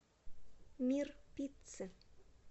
мир пиццы